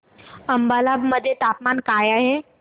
अंबाला मध्ये तापमान काय आहे